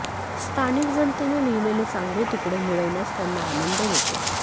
स्थानिक जनतेने लिहिलेले चांगले तुकडे मिळवण्यास त्यांना आनंद होतो